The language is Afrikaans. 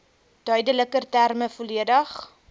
duideliker terme volledig